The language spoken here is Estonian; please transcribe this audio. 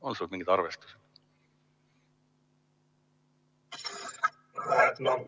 On sul mingit arvestust?